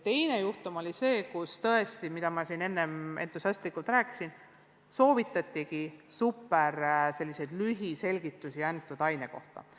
Teine juhtum oli selline, nagu ma enne siin entusiastlikult rääkisin, et soovitatigi kasutada selliseid superlühiselgitusi vastava aine kohta.